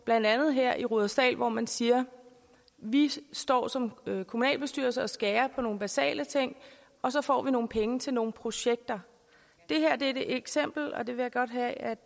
blandt andet her i rudersdal hvor man siger vi står som kommunalbestyrelse og skærer på nogle basale ting og så får vi nogle penge til nogle projekter det her er et eksempel og jeg vil godt have at